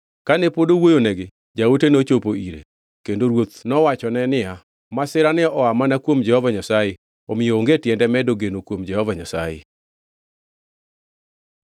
Kane pod owuoyonegi, jaote nochopo ire. Kendo ruoth nowachone niya, “Masirani oa mana kuom Jehova Nyasaye, omiyo onge tiende medo geno kuom Jehova Nyasaye.”